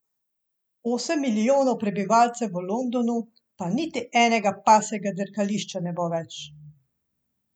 Osem milijonov prebivalcev v Londonu, pa niti enega pasjega dirkališča ne bo več.